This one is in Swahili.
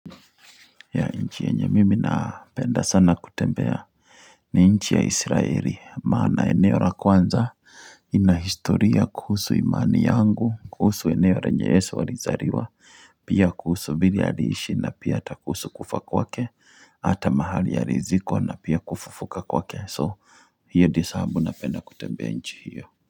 Ya nchi yenye mimi napenda sana kutembea ni nchi ya israeli maana eneo la kwanza inahistoria kuhusu imani yangu kuhusu eneo lenye yesu alizaliwa pia kuhusu vile aliishi na pia ata kuhusu kufa kwake hata mahali alizikwa na pia kufufuka kwake so hiyo dio sahabu napenda kutembea nchi hiyo. Kwa hivyo.